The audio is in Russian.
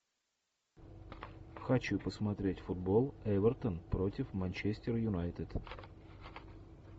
хочу посмотреть футбол эвертон против манчестер юнайтед